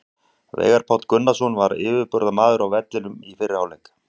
Veigar Páll Gunnarsson var yfirburðamaður á vellinum í fyrri hálfleik.